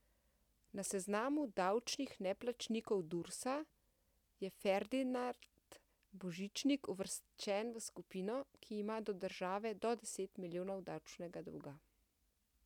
Na seznamu davčnih neplačnikov Dursa je Ferdinand Božičnik uvrščen v skupino, ki ima do države do deset milijonov davčnega dolga.